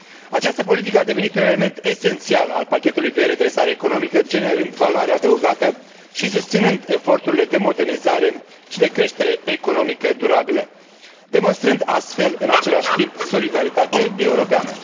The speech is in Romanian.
Această politică a devenit un element esențial al pachetului de redresare economică, generând valoare adăugată și susținând eforturile de modernizare și de creștere economică durabilă, demonstrând astfel, în același timp, solidaritate europeană.